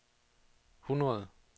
hundrede